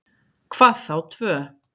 Hvað þá tvö.